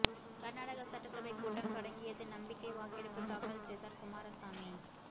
கர்நாடக சட்டசபை கூட்டம் தொடங்கியது நம்பிக்கை வாக்கெடுப்பு தாக்கல் செய்தார் குமாரசாமி